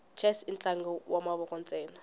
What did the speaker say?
chess intlangu wamavoko nsena